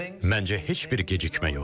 Məncə heç bir gecikmə yoxdur.